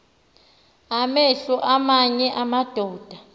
amehlo aamanye amadoda